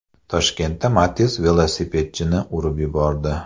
Toshkentda Matiz velosipedchini urib yubordi.